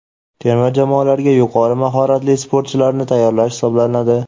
terma jamoalarga yuqori mahoratli sportchilarni tayyorlash hisoblanadi.